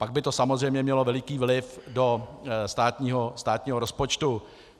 Pak by to samozřejmě mělo veliký vliv do státního rozpočtu.